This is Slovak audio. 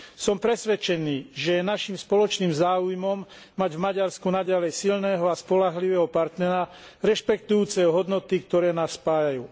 Som presvedčený, že je našim spoločným záujmom mať v Maďarsku naďalej silného a spoľahlivého partnera rešpektujúceho hodnoty, ktoré nás spájajú.